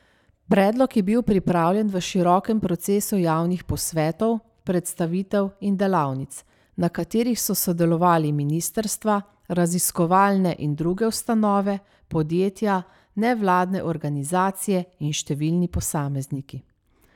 Predlog je bil pripravljen v širokem procesu javnih posvetov, predstavitev in delavnic, na katerih so sodelovali ministrstva, raziskovalne in druge ustanove, podjetja, nevladne organizacije in številni posamezniki.